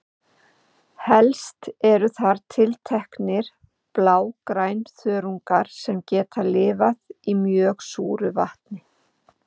Helst eru þar tilteknir blágrænþörungar sem geta lifað í mjög súru vatni.